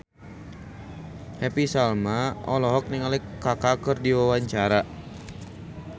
Happy Salma olohok ningali Kaka keur diwawancara